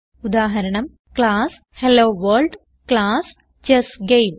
ഉദാഹരണം class hello world class chess game